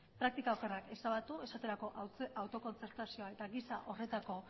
praktika okerrak ezabatu esaterako autokontzertazioa eta gisa horretako